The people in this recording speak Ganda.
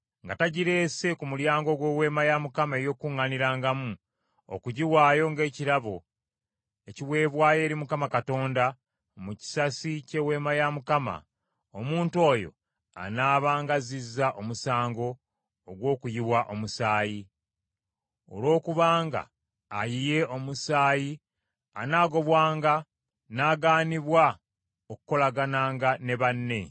nga tagireese ku mulyango gw’Eweema ey’Okukuŋŋaanirangamu, okugiwaayo ng’ekirabo ekiweebwayo eri Mukama Katonda mu kisasi ky’Eweema ya Mukama ; omuntu oyo anaabanga azzizza omusango ogw’okuyiwa omusaayi; olwokubanga ayiye omusaayi, anaagobwanga n’agaanibwa okukolagananga ne banne.